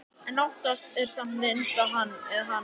En oftast er samt minnst á Hann eða Hana.